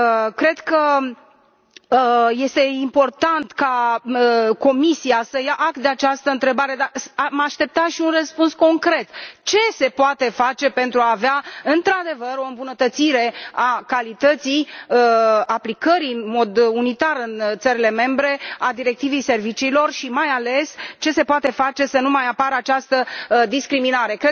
Cred că este important ca Comisia să ia act de această întrebare, dar am aștepta și un răspuns concret ce se poate face pentru a avea, într adevăr, o îmbunătățire a calității aplicării în mod unitar în țările membre a Directivei serviciilor și, mai ales, ce se poate face să nu mai apară această discriminare?